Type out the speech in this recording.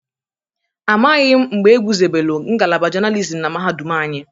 Amaghị mgbe egwuzobelu ngalaba journalism na mahadum anyị.